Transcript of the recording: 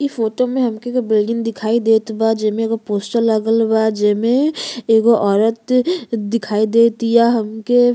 इ फोटो में हमके एगो बिल्डिंग दिखाई देत बा जेमे एगो पोस्टर लागल बा जेमें एगो औरत दिखाई दे तिया हमके।